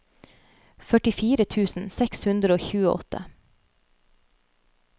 førtifire tusen seks hundre og tjueåtte